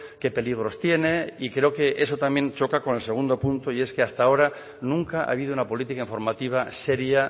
qué peligros tiene y creo que eso también choca con el segundo punto y es que hasta ahora nunca ha habido una política informativa seria